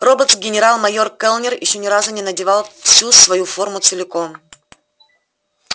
роботс генерал-майор кэллнер ещё ни разу не надевал всю свою форму целиком